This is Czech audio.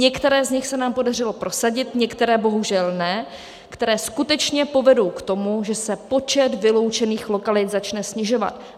Některé z nich se nám podařilo prosadit, některé bohužel ne, které skutečně povedou k tomu, že se počet vyloučených lokalit začne snižovat.